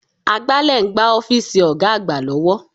Agbálẹ̀ ń gbá ọ́fíìsì Ọ̀ga àgbà lọ́wọ́